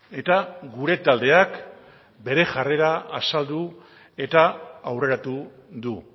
eta gure taldeak bere jarrera azaldu eta aurreratu du